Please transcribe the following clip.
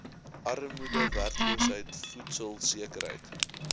armoede werkloosheid voedselsekerheid